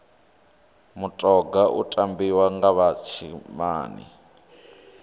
mutoga u tambiwa nga vha tshinnani